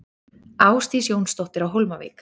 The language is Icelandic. Ásdís Jónsdóttir á Hólmavík